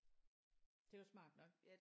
Det er jo smart nok